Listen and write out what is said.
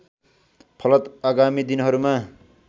फलत आगामी दिनहरूमा